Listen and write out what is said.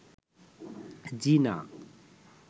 জিনা